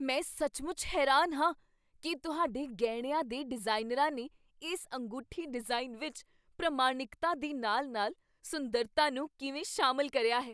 ਮੈਂ ਸੱਚਮੁੱਚ ਹੈਰਾਨ ਹਾਂ ਕੀ ਤੁਹਾਡੇ ਗਹਿਣਿਆਂ ਦੇ ਡਿਜ਼ਾਈਨਰਾਂ ਨੇ ਇਸ ਅੰਗੂਠੀ ਡਿਜ਼ਾਈਨ ਵਿੱਚ ਪ੍ਰਮਾਣਿਕਤਾ ਦੇ ਨਾਲ ਨਾਲ ਸੁੰਦਰਤਾ ਨੂੰ ਕਿਵੇਂ ਸ਼ਾਮਿਲ ਕਰਿਆ ਹੈ